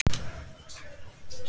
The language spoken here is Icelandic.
Lokið er tölti og skeiði.